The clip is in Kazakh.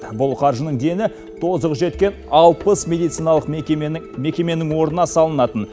бұл қаржының дені тозығы жеткен алпыс медициналық мекеменің орнына салынатын